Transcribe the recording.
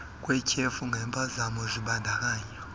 kwetyhefu ngempazamo zibandakanya